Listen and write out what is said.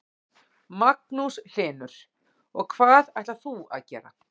Magnús Hlynur: Og hvað ætlar þú að gera?